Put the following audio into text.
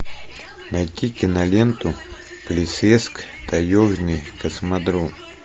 найти киноленту плесецк таежный космодром